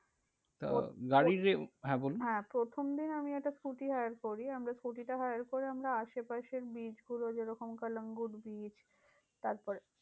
তা গাড়ির হ্যাঁ বলুন। হ্যাঁ প্রথম দিন আমি একটা scooty hire করি, আমরা scooty টা hire করে, আমরা আশেপাশের beach গুলো, যেরকম কালাঙ্গুর beach তারপরে